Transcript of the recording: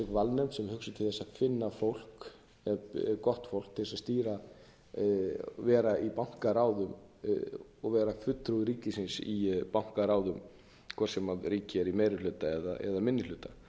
valnefnd sem er hugsuð til þess að finna gott fólk til þess að vera í bankaráði og vera fulltrúi ríkisins í bankaráðum hvort sem ríkið er í meiri hluta eða minni hluta það